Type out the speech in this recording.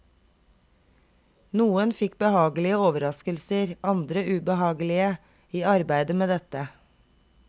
Noen fikk behagelige overraskelser, andre ubehagelige, i arbeidet med dette.